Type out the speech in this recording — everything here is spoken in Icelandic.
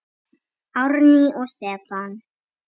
Árný og Stefán.